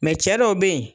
Mɛ cɛ dɔw bɛ yen